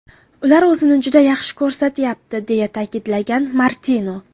Ular o‘zini juda yaxshi ko‘rsatyapti”, deya ta’kidlagan Martino.